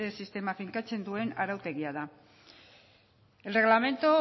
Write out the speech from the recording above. sistema finkatzen duen arautegia da el reglamento